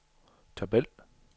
tabel